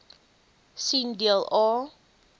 sien deel a